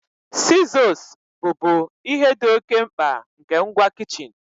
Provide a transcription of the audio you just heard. Sizos bụ bu ihe dị oke mkpa nke ngwa kichin.